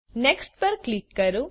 next પર click કરો